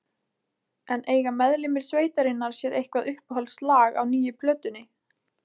En eiga meðlimir sveitarinnar sér eitthvað uppáhaldslag á nýju plötunni?